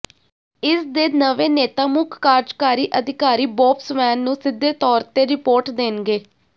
ਇਸਦੇ ਨਵੇਂ ਨੇਤਾ ਮੁੱਖ ਕਾਰਜਕਾਰੀ ਅਧਿਕਾਰੀ ਬੌਬ ਸਵੈਨ ਨੂੰ ਸਿੱਧੇ ਤੌਰ ਤੇ ਰਿਪੋਰਟ ਦੇਣਗੇ